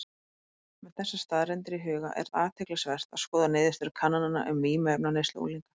Með þessar staðreyndir í huga er athyglisvert að skoða niðurstöður kannana um vímuefnaneyslu unglinga.